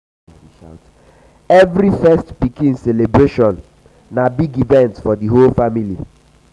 every first pikin celebration na big event for di whole family.